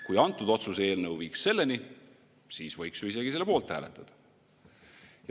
Kui antud otsuse eelnõu viiks selleni, siis võiks ju isegi selle poolt hääletada.